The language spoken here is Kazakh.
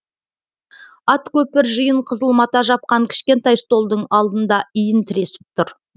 ат көпір жиын қызыл мата жапқан кішкентай столдың алдында иін тіресіп тұр